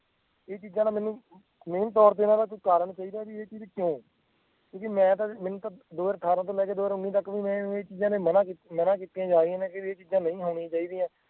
ਇਹ ਚੀਜ਼ਾਂ ਨਾ ਮੈਂਨੂੰ main ਤੋਰ ਤੇ ਇਨਾ ਦਾ ਕੋਈ ਕਾਰਨ ਚਾਹੀਦਾ ਆ ਬਈ ਇਹ ਚੀਜ਼ ਕਿਉਂ ਕਿਉਂਕਿ ਮੈਂ ਤਾਂ ਮੈਂਨੂੰ ਤਾਂ ਦੋ ਹਜ਼ਾਰ ਅਠਾਰਾਂ ਤੋਂ ਲੇਕਰ ਦੋ ਹਜ਼ਾਰ ਉੱਨੀ ਤਕ ਵੀ ਮੈਂ ਇਹ ਚੀਜ਼ਾਂ ਮਨਾ ਮਨਾ ਕੀਤੀਆਂ ਜਾ ਰਿਹਾ ਬਈ ਇਹ ਚੀਜ਼ਾਂ ਨੀ ਹੋਣੀ ਚਾਹੀਦਾ